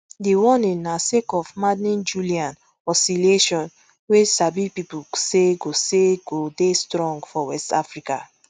di warning na sake of maddenjullian oscillation wey sabi pipo say go say go dey strong for west africa